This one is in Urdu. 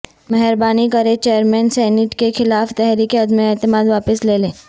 مہربانی کریں چیئرمین سینیٹ کیخلاف تحریک عدم اعتماد واپس لے لیں